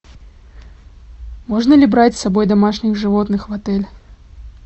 можно ли брать с собой домашних животных в отель